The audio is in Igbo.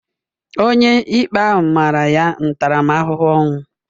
Onyeikpe ahụ mara ya ntaramahụhụ ọnwụ.